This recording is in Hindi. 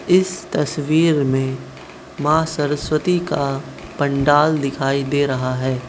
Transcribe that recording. इस तस्वीर में माँ सरस्वती का पंडाल दिखाई दे रहा है।